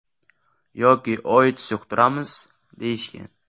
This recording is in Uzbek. Yoki OITS yuqtiramiz”, deyishgan.